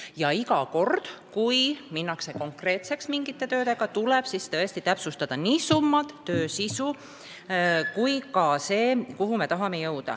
Ja iga kord, kui minnakse mingite töödega konkreetseks, tuleb täpsustada nii summad, töö sisu kui ka see, kuhu me tahame jõuda.